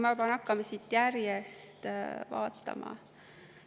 Ma pean hakkama siit järjest vaatama.